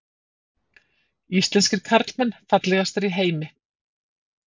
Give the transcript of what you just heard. Íslenskir karlmenn fallegastir í heimi